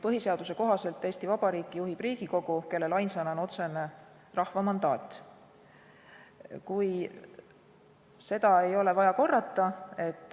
Põhiseaduse kohaselt juhib Eesti Vabariiki Riigikogu, kellel ainsana on otsene rahva mandaat.